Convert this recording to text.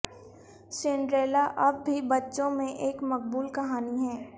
Cinderella اب بھی بچوں میں ایک مقبول کہانی ہے